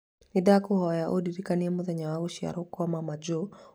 Nĩndakũhoya ũndirikanie mũthenya wa gũciarwo kwa maama Joe o mweri wa gatano mũthenya wa kana